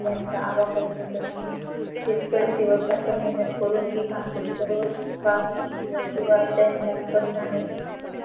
यांचा आबा कवितेपासून शेतकरी दिवसरात्र मेहनत करून पीक आणतो सर्व शिवाय त्यांच्या कष्टाने